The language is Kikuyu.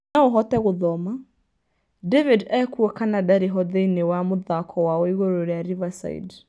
No ũhote gũthoma : David ekuo kana ndarĩ ho thĩinĩ wa mũthako wao iguru rĩa Riverside?